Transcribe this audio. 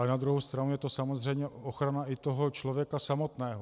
Ale na druhou stranu je to samozřejmě ochrana i toho člověka samotného.